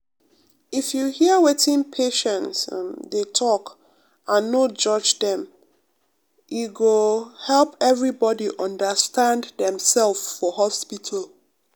if you hear wetin patients um dey talk and no judge dem e um go um help everybody understand demself for hospital.